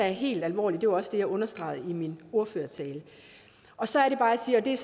helt alvorligt det var også det jeg understregede i min ordførertale og så er det bare jeg siger det